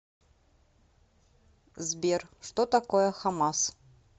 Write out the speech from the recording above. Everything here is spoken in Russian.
сбер что такое хамас